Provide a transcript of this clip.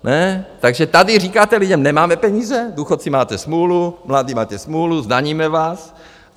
Takže tady říkáte lidem - nemáme peníze, důchodci, máte smůlu, mladí, máte smůlu, zdaníme vás.